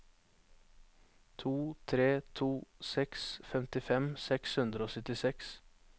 to tre to seks femtifem seks hundre og syttiseks